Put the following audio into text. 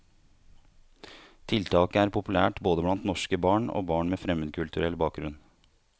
Tiltaket er populært både blant norske barn og barn med fremmedkulturell bakgrunn.